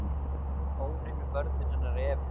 Óhreinu börnin hennar Evu